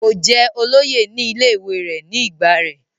kò jẹ́ olóyè ní ilé ìwé rẹ̀ ní ìgbà rẹ̀